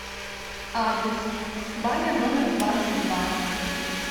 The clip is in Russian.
адрес баня номер двадцать два